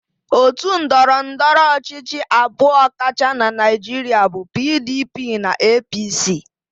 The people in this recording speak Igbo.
Otu ndọrọndọrọ ọchịchị abụọ kacha na Naịjirịa bụ PDP na APC.